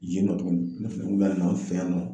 Yen nɔ tuguni ne fɛ bɛna na an fɛ yan nɔ